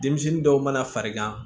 Denmisɛnnin dɔw mana farigan